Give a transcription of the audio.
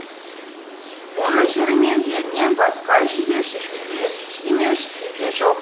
оның жыры мен елінен басқа жебеушісі де демеушісі де жоқ